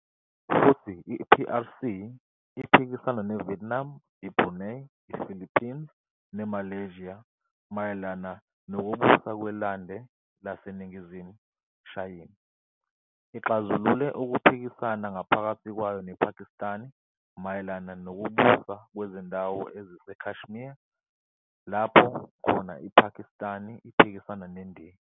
Futhi i-PRC iphikisana neVietnam, iBrunei, iPhilippines neMalaysia mayelana ukubusa kweLwande leNingizimu Shayina. Ixazulule ukuphikasana ngaphakathi kwayo nePhakistani mayelana ukubusa kwezindawo eziseKashmir lapho khona iPhakistani iphikisana neNdiya.